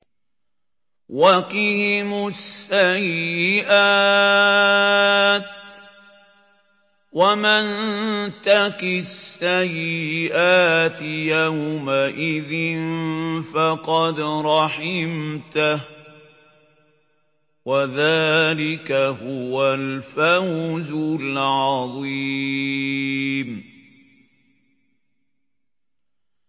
وَقِهِمُ السَّيِّئَاتِ ۚ وَمَن تَقِ السَّيِّئَاتِ يَوْمَئِذٍ فَقَدْ رَحِمْتَهُ ۚ وَذَٰلِكَ هُوَ الْفَوْزُ الْعَظِيمُ